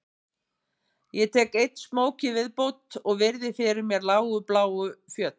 Ég tek einn smók í viðbót og virði fyrir mér lágu bláu fjöll